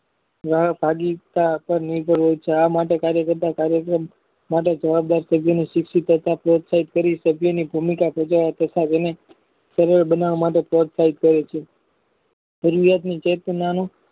જયારે સાડી આકાળ નીકળ રહે છે આ માટે કાર્ય કરતા કાર્યશીલ માટે જવાબદાર સર્જનને શિક્ષીત કરતા પ્લેટપટ કરી સભ્યની ભૂમિકા ભજવવા તથા જેને સર્વ બનાવવા માટે પરોસહિત કરે છે જરૂરિયાતની ચેતનાનું